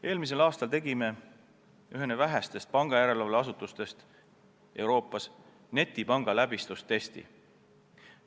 Eelmisel aastal tegime ühena vähestest pangajärelevalve asutustest Euroopas netipanga läbistustesti.